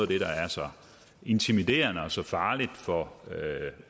det der er så intimiderende og så farligt for